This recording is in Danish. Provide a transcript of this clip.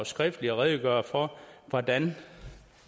skriftligt at redegøre for hvordan